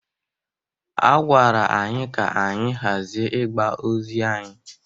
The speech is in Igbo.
A gwara anyị ka anyị hazie igbe ozi anyị.